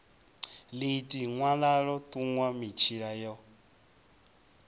ḽiiti ṅwalaḽo ṱuṅwa mitshila yo